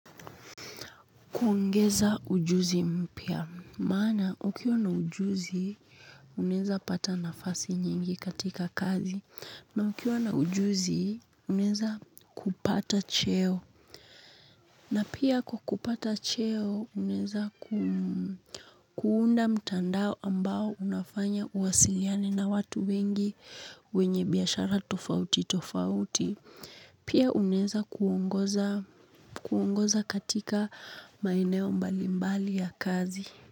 Kuongeza ujuzi mpya, maana ukiwa na ujuzi unawezapata nafasi nyingi katika kazi na ukiwa na ujuzi unaweza kupata cheo na pia kwa kupata cheo unaweza kuunda mtandao ambao unafanya uwasiliane na watu wengi wenye biashara tofauti tofauti. Pia unaeza kuongoza katika maeneo mbalimbali ya kazi.